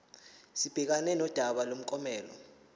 sibhekane nodaba lomklomelo